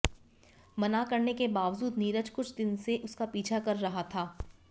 मना करने के बावजूद नीरज कुछ दिन से उसका पीछा कर रहा था